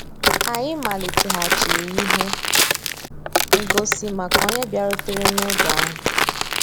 Ànyị́ màlìtéghàchíré íhé ngósì màkà ónyé bìàrùtérè n'ògé ahụ́.